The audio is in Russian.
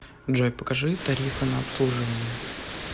джой покажи тарифы на обслуживание